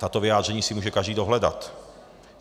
Tato vyjádření si může každý dohledat.